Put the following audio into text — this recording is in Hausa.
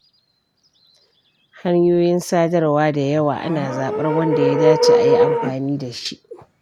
Hanyoyin sadarwa da yawa, ana zaɓar wanda ya dace a yi amfani da shi.